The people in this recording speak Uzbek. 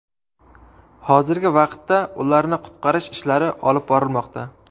Hozirgi vaqtda ularni qutqarish ishlari olib borilmoqda.